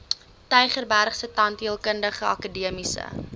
tygerbergse tandheelkundige akademiese